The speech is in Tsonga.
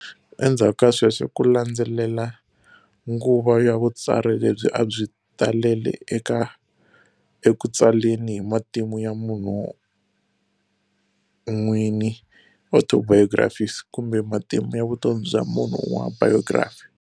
Endzaku ka sweswo ku landzele nguva ya vutsari lebyi abyi talele eku tsaleni hi matimu ya munhu n'wini, Autobiographies, kumbe matimu ya vutomi bya munhu un'wana, Biography